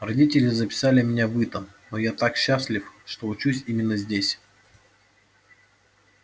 родители записали меня в итон но я так счастлив что учусь именно здесь